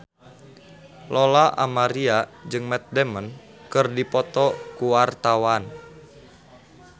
Lola Amaria jeung Matt Damon keur dipoto ku wartawan